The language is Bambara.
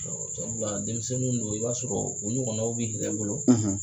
denmisɛnninw do i b'a sɔrɔ u ɲɔgɔnaw b'i yɛrɛ bolo.